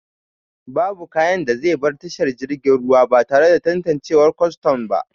Babu kayan da zai bar tashar jiragen ruwa batare da tantanciwar Kwaston ba